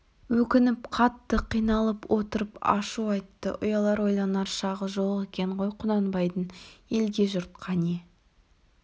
өкініп қатты қиналып отырып ашу айтты ұялар ойланар шағы жоқ екен ғой құнанбайдың елге жұртқа не